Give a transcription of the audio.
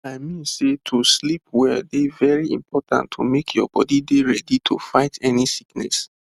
i mean sey to sleep well dey very important to make your body dey ready to fight any sickness